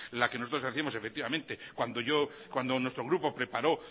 la que nosotros hacíamos efectivamente cuando nuestro grupo preparó